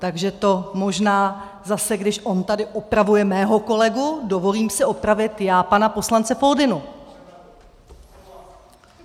Takže to možná zase když on tady opravuje mého kolegu, dovolím si opravit já pana poslance Foldynu.